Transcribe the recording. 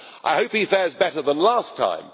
I hope he fares better than last time.